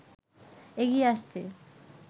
এগিয়ে আসছে